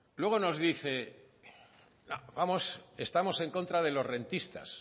luego nos dice vamos estamos en contra de los rentistas